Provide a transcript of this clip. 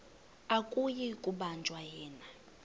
akuyi kubanjwa yena